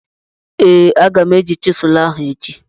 Ee, aga m eyuzu chịselu ahụ echi.